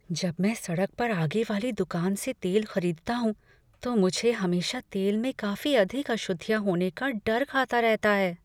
जब मैं सड़क पर आगे वाली दुकान से तेल खरीदता हूँ तो मुझे हमेशा तेल में काफी अधिक अशुद्धियाँ होने का डर खाता रहता है।